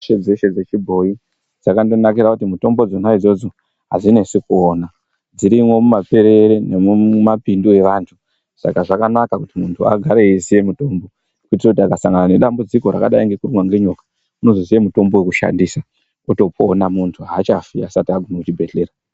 Mitombo dzeshe dzechibhoyi dzakandonakira kuti mitombo idzona idzodzo adzinesi kuona dzinooneka mumaperere nemumapindu evanhu saka zvakanaka kuti muntu agare eiziya mitombo kuitira kuti akasangana nedambudziko rakadai ngekurumwa ngenyoka unozoziya mitombo yekushandisa otopona muntu aachafi asati aguma kuchibhedhlera.